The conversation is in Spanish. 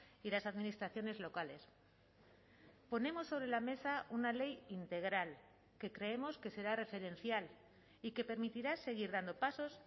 y las administraciones locales ponemos sobre la mesa una ley integral que creemos que será referencial y que permitirá seguir dando pasos